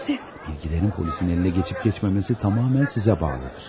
Bilgilərin polisin əlinə keçib keçməməsi tamamilə sizə bağlıdır.